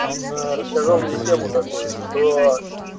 он рассказал мне тему такую что